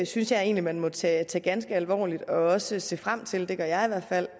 synes jeg egentlig man må tage ganske alvorligt og også se frem til det gør jeg i hvert fald